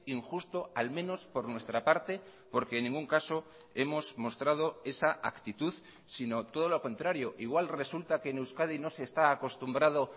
injusto al menos por nuestra parte porque en ningún caso hemos mostrado esa actitud sino todo lo contrario igual resulta que en euskadi no se está acostumbrado